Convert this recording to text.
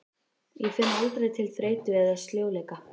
Ég finn aldrei til þreytu eða sljóleika.